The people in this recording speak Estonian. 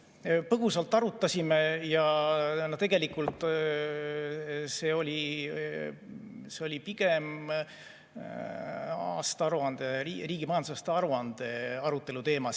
Põgusalt arutasime ja tegelikult oli see pigem riigi majandusaasta aruande arutelu teema.